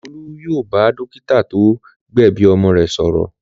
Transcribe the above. Olú yóò bá dọ́kítá tó gbẹ̀bi ọmọ rẹ̀ sọ̀rọ̀.